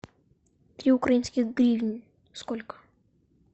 три украинских гривны сколько